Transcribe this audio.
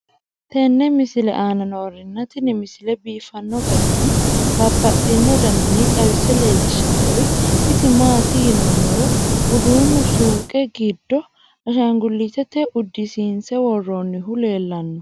tenne misile aana noorina tini misile biiffanno garinni babaxxinno daniinni xawisse leelishanori isi maati yinummoro uduunu suuqqe giddo ashangulittete udisiinse woroonnihu leelanno